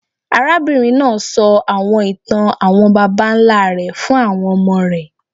Arábìnrin náà sọ àwọn ìtàn àwọn babańlá rẹ̀ fún àwọn ọmọ rẹ̀.